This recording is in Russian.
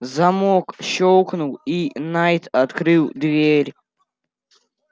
замок щёлкнул и найд открыл дверь